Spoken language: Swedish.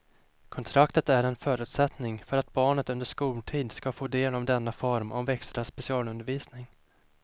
Kontraktet är en förutsättning för att barnet under skoltid ska få del av denna form av extra specialundervisning.